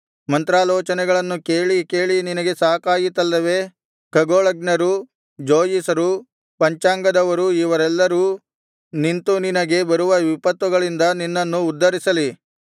ಮಂತ್ರಾಲೋಚನೆಗಳನ್ನು ಕೇಳಿ ಕೇಳಿ ನಿನಗೆ ಸಾಕಾಯಿತಲ್ಲವೇ ಖಗೋಳಜ್ಞರು ಜೋಯಿಸರು ಪಂಚಾಂಗದವರು ಇವರೆಲ್ಲರೂ ನಿಂತು ನಿನಗೆ ಬರುವ ವಿಪತ್ತುಗಳಿಂದ ನಿನ್ನನ್ನು ಉದ್ಧರಿಸಲಿ